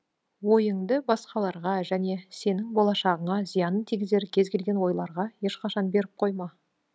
ойыңды басқаларға және сенің болашағына зиянын тигізер кезгелген ойларға ешқашан беріп қойма